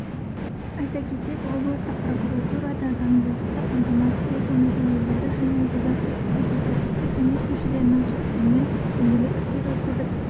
айта кетейік облыстық прокуратурада заңдылықты қамтамасыз ету мәселелері жөніндегі консультативтік кеңес мүшелерінің қатысуымен дөңгелек үстел өткізіп